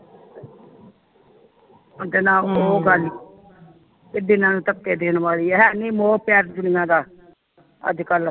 ਹੁਣ ਤੇ ਨਾ ਉਹ ਗੱਲ ਇਹ ਦਿਲਾਂ ਨੂੰ ਧੱਕੇ ਦੇਣ ਵਾਲੀ ਹਾਨੀ ਮੋਹ ਪਿਆਰ ਦੁਨੀਆਂ ਦਾ ਅੱਜ ਕੱਲ